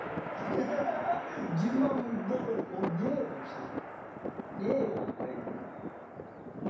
жиырма мың доллар ол не вообще не ол по идее